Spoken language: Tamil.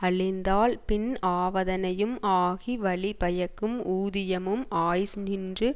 அழிந்தால் பின் ஆவதனையும் ஆகி வழி பயக்கும் ஊதியமும் ஆய்ஸ் நின்று